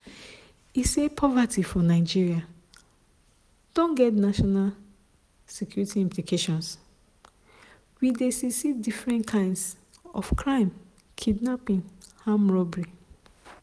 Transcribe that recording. e say poverty for nigeria don get national security implications "we dey see see different kinds of crime kidnapping armed robbery